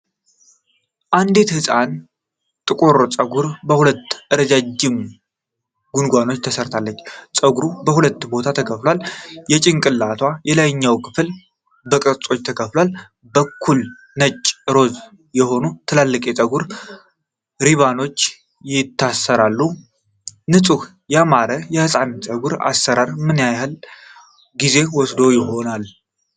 የአንዲት ህፃን ጥቁር ፀጉር በሁለት ረዣዥም ጎንጉኖች ተሠርቶ፣ ፀጉሩ በሁለት ቦታ ተከፋፍሏል። የጭንቅላቱ የላይኛው ክፍል በቅርጾች ተከፋፍሎ፣ በኩል ነጭ ሮዝ የሆኑ ትልልቅ የፀጉር ሪባኖች ይታሰራሉ። ንጹህና ያማረ የህፃናት ፀጉር አሰራር ምን ያህል ጊዜ ወስዶ ይሆናል?